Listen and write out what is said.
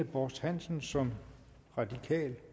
borst hansen som radikal